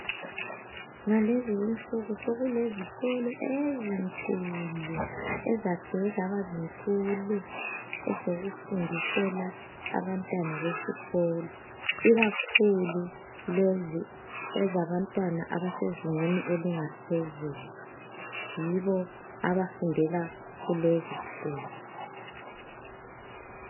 Ngalezi insuku sekulezikolo ezinkulu ezakhiwe zaba zinkulu ezokufundisela abantwana besikolo ikakhulu lezi ezabantwana abasezingeni elingaphezulu yibo abafundela kulezi zikolo.